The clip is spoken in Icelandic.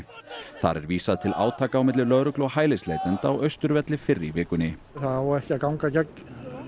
þar er vísað til átaka á milli lögreglu og hælisleitenda á Austurvelli fyrr í vikunni það á ekki að ganga gegn